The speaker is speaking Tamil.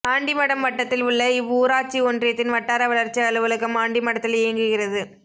ஆண்டிமடம் வட்டத்தில் உள்ள இவ்வூராட்சி ஒன்றியத்தின் வட்டார வளர்ச்சி அலுவலகம் ஆண்டிமடத்தில் இயங்குகிறது